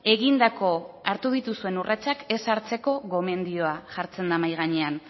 egindako hartu dituzuen urratsak ez hartzeko gomendioa jartzen da mahai gainean